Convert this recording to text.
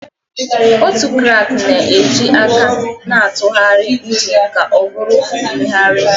Otu crank na-eji aka na-atụgharị engine ka ọ bụrụ mmegharị